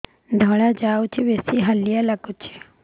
ଧଳା ଯାଉଛି ବେଶି ହାଲିଆ ଲାଗୁଚି